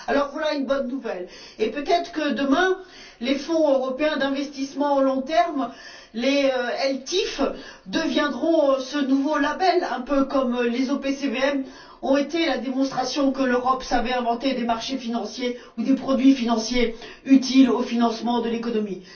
Alors, voilà une bonne nouvelle et, peut être que demain, les fonds européens d'investissement à long terme, les ELTIF, deviendront ce nouveau label, un peu comme les OPCVM ont été la démonstration que l'Europe savait inventer des marchés financiers ou des produits financiers utiles au financement de l'économie.